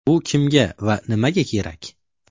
Bu kimga va nimaga kerak?